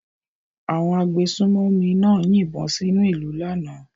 Àwọn agbésùnmòmí náà yìnbọn sínú ìlú náà lánàá.